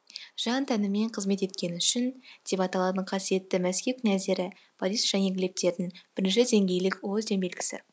жан тәнімен қызмет еткені үшін деп аталатын қасиетті мәскіп нәзері борис және глебтетің бірінші деңгейлік орден белгісі